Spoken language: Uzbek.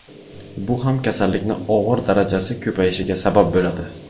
Bu ham kasallikni og‘ir darajasi ko‘payishiga sabab bo‘ladi.